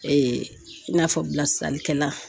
i n'a fɔ bilasiralikɛlan